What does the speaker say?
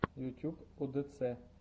ютюб удэцэ